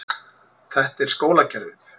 Þetta er skólakerfið.